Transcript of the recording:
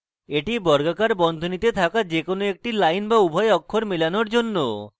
এটি বর্গাকার বন্ধনীতে match যে কোনো একটি বা উভয় অক্ষর মেলানোর জন্য